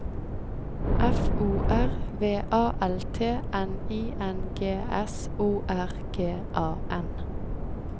F O R V A L T N I N G S O R G A N